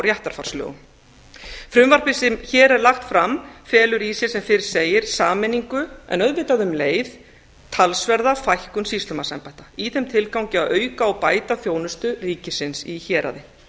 réttarfarslögum frumvarpið sem hér er lagt fram felur í sér sem fyrr segir sameiningu en auðvitað um leið talsverð fækkun sýslumannsembætta í þeim tilgangi að auka og bæta þjónustu ríkisins í héraði